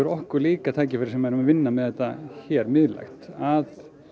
líka okkur tækifæri sem er að vinna með þetta miðlægt að